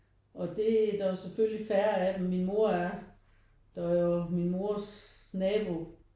Og det der er jo selvfølgelig færre af dem. Min mor er der og min mors nabo